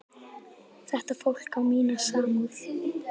Þetta fólk á mína samúð.